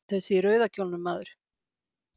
Þessi í rauða kjólnum, maður.